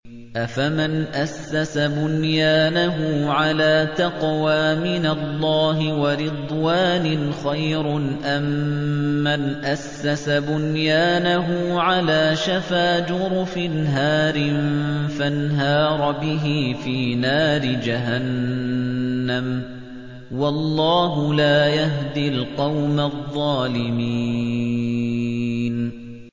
أَفَمَنْ أَسَّسَ بُنْيَانَهُ عَلَىٰ تَقْوَىٰ مِنَ اللَّهِ وَرِضْوَانٍ خَيْرٌ أَم مَّنْ أَسَّسَ بُنْيَانَهُ عَلَىٰ شَفَا جُرُفٍ هَارٍ فَانْهَارَ بِهِ فِي نَارِ جَهَنَّمَ ۗ وَاللَّهُ لَا يَهْدِي الْقَوْمَ الظَّالِمِينَ